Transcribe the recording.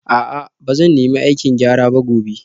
A'a ba zan nemi aikin gyara ba gobe